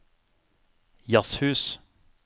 jazzhus